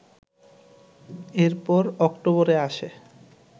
এরপর অক্টোবরে আসে